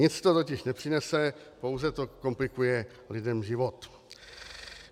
Nic to totiž nepřinese, pouze to komplikuje lidem život.